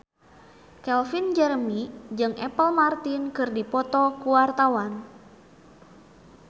Calvin Jeremy jeung Apple Martin keur dipoto ku wartawan